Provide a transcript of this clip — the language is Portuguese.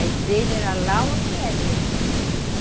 A igreja era lá onde é mesmo.